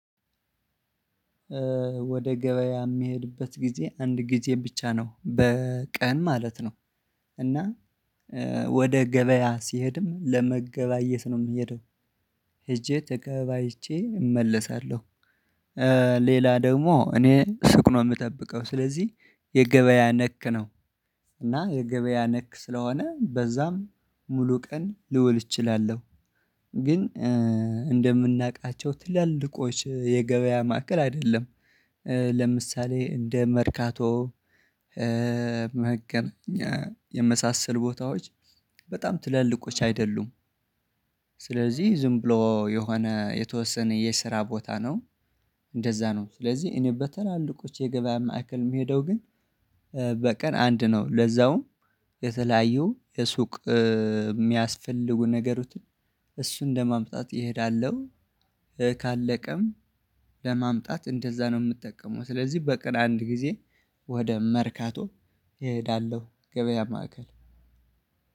ወደ ገበያ የምሄድበት ጊዜ አንድ ጊዜ ብቻ ነው በቀን ማለት ነው። እና ወደ ገበያ ስሄድም ለመገበያየት ነው የምሄደው። ሄጄ ተገበያይቼ እመለሳለሁ። ሌላ ደግሞ እኔ ሱቅ ነው የምጠብቀው ስለዚህ የገበያ ነክ ነው። እና የገበያ ነክ ስለሆነ በዛም ሙሉ ቀን ልውል እችላለሁ። ግን እንደምናቃቸው ትላልቆች የገበያ ማዕከል አይደለም። ለምሳሌ እንደ መርካቶ መገናኛ የመሳሰሉ ቦታዎች በጣም ትላልቆች አይደሉም። ስለዚህ ዝም ብሎ የሆነ የተወሰነ የስራ ቦታ ነው። እንደዛ ነው ስለዚህ እኔ በተላልቆች የገበያ ማዕከል የምሄደው ግን በቀን አንድ ነው። ለዛውም የተለያዩ የሱቅ የሚያስፈልጉ ነገሮችን እሱን ለማምጣት እሄዳለሁ። ካለቀም ለማምጣት እንደዛ ነው ምጠቀመው ስለዚህ በቀን አንድ ጊዜ ወደ መርካቶ እሄዳለሁ ገበያ ማዕከል።